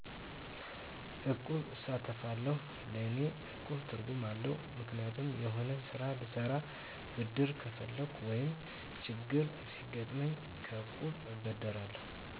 እቁብ እሳተፋለሁ ለእኔ እቁብ ትርጉም አለዉ ምክንያቱም የሆነ ስራ ልሰራ ብድር ከፈለኩ ወይም ችግር ሲገጥመኝ ከእቁብ እበደራለሁ